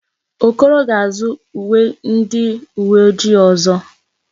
Okoro ga-azụ uwe ndi uwe ojii ọzọ.